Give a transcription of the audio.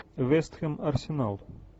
вестхэм арсенал